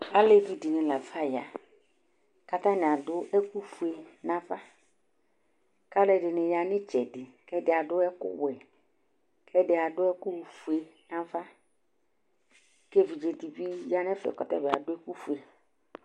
Aluvidíni la fa ya ku atani adu ɛku fue nava kaluɛdini ya nu itsɛdi kɛdi adu ɛku ɔwɛ kuɛdi adu ɛku fue nava ku evidze dibi ya nu ɛfɛ ku tabi adu ɛku fue